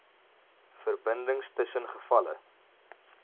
verbindings tussen gevalle